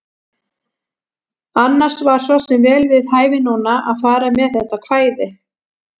Annars var svo sem vel við hæfi núna að fara með þetta kvæði.